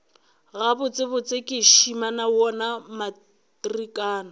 gabotsebotse ke šimama wona matrikana